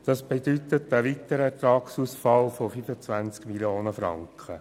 Das bedeutet einen weiteren Ertragsausfall von 25 Mio. Franken.